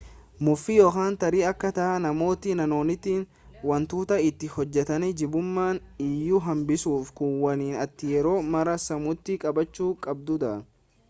mufii yookaan tarii akkaataa namootni naannootti wantoota itti hojjetan jibbuuma iyyuu hambisuuf kun waan ati yeroo mara sammuutti qabachuu qabdudha